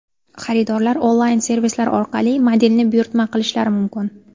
Xaridorlar onlayn-servislar orqali modelni buyurtma qilishlari mumkin.